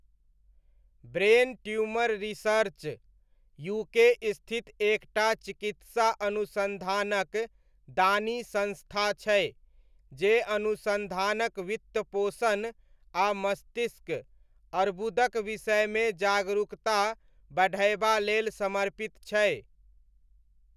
Brain Tumour Research UK स्थित एक टा चिकित्सा अनुसन्धानक दानी संस्था छै जे अनुसन्धानक वित्तपोषण आ मस्तिष्क अर्बुदक विषयमे जागरूकता बढ़यबा लेल समर्पित छै।